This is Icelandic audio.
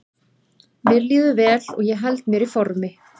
Mér líður vel og ég held mér í formi.